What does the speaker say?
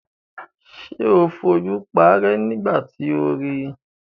Ṣé o fojú paárẹ́ nígbà tí o ri?